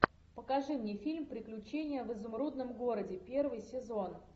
покажи мне фильм приключения в изумрудном городе первый сезон